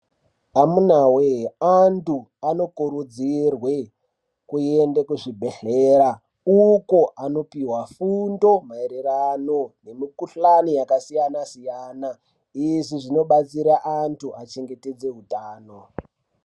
Amunawe! antu anokurudzirwe kuende kuzvibhedhlera uko anopuwa fundo maererano nemikhulani yakasiyanasiyana izvi zvinobatsira antu achengetedze utano.